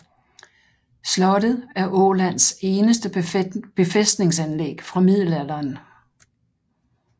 Slottet er Ålands eneste befæstningsanlæg fra middelalderen